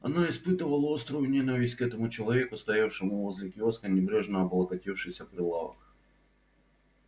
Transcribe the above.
она испытывала острую ненависть к этому человеку стоявшему возле киоска небрежно облокотившись о прилавок